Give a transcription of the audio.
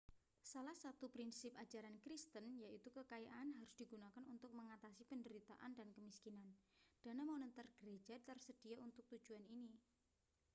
salah satu prinsip ajaran kristen yaitu kekayaan harus digunakan untuk mengatasi penderitaan dan kemiskinan dana moneter gereja tersedia untuk tujuan ini